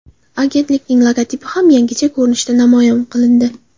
Agentlikning logotipi ham yangicha ko‘rinishda namoyish qilindi .